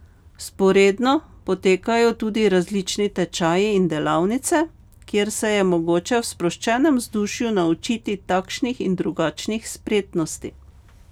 Vzporedno potekajo tudi različni tečaji in delavnice, kjer se je mogoče v sproščenem vzdušju naučiti takšnih in drugačnih spretnosti.